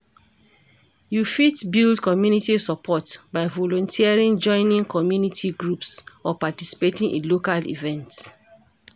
You fit build community support by volunteering joining community groups or participating in local events.